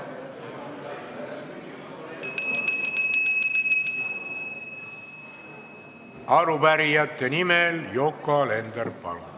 Arupärijate nimel Yoko Alender, palun!